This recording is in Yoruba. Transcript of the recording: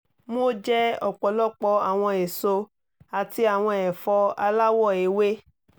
mo jẹ ọpọlọpọ awọn eso ati awọn ẹfọ alawọ ewe